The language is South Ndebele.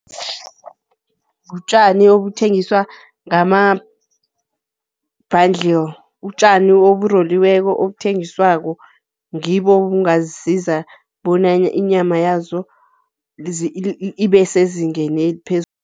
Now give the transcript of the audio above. Butjani obuthengiswa ngama-bundle utjani oburoliweko obuthengiswako, ngibo obungazisiza bona inyama yazo ibe sezingeni